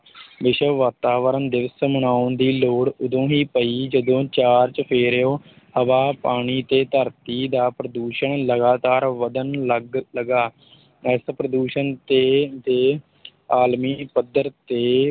ਵਿਸ਼ਵ ਵਾਤਾਵਰਣ ਦਿਵਸ ਮਨਾਉਣ ਦੀ ਲੋੜ ਉਦੋਂ ਹੀ ਪਈ ਜਦੋਂ ਚਾਰ ਚੁਫੇਰਿਓਂ ਹਵਾ, ਪਾਣੀ ਤੇ ਧਰਤੀ ਦਾ ਪ੍ਰਦੂਸ਼ਣ ਲਗਾਤਾਰ ਵੱਧਣ ਲੱਗ ਲੱਗਾ ਇਸ ਪ੍ਰਦੂਸ਼ਣ ਤੇ ਦੇ ਆਲਮੀ ਪੱਧਰ ਤੇ